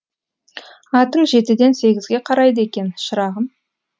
атың жетіден сегізге қарайды екен шырағым